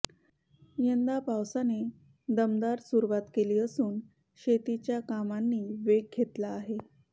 यंदा पावसाने दमदार सुरुवात केली असून शेतीच्या कामांनी वेग घेतला आहे